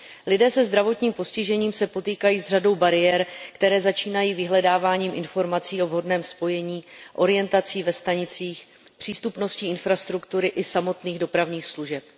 Lidé se zdravotním postižením se potýkají s řadou bariér, které začínají vyhledáváním informací o vhodném spojení, orientací ve stanicích, přístupností infrastruktury i samotných dopravních služeb.